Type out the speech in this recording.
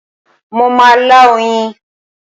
Mo má a lá oyin